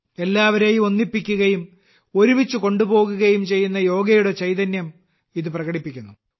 എല്ലാവരേയും ഒന്നിപ്പിക്കുകയും ഒരുമിച്ച് കൊണ്ടുപോകുകയും ചെയ്യുന്ന യോഗയുടെ ചൈതന്യം ഇത് പ്രകടിപ്പിക്കുന്നു